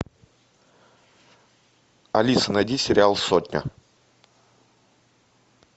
алиса найди сериал сотня